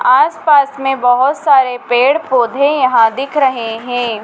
आस पास में बहोत सारे पेड़ पौधे यहां दिख रहे हैं।